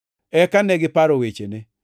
Eka negiparo wechene.